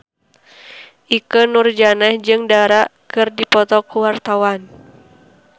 Ikke Nurjanah jeung Dara keur dipoto ku wartawan